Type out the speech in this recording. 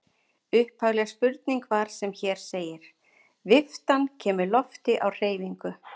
Upphafleg spurning var sem hér segir: Viftan kemur lofti á hreyfingu.